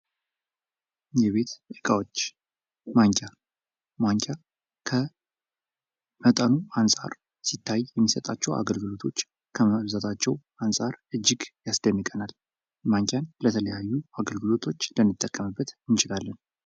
የቤት እቃዎች ማንኪያ:- ማንኪያ ከመጠኑ አንፃር ሲታይ የሚሰጣቸዉ ከገልግሎቶች ከመብዛታቸዉ አንፃር እጅግ ያስደንቀናል። ማንኪያን ለተለያዩ አገልግሎቶች ልንጠቀምበት እንችላለን።